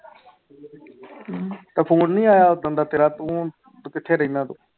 ਤਾਂ ਫ਼ੋਨ ਨੀ ਆਇਆ ਓਦਣ ਦਾ ਤੇਰਾ ਤੂੰ ਤੁੰ ਕਿੱਥੇ ਰਹਿਨਾ ਤੂੰ।